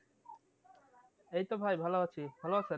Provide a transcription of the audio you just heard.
এই তো ভাই ভালো আছি ভালো আছেন?